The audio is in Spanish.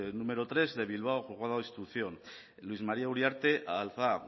número tres de bilbao juzgado de instrucción luis maría uriarte alzaa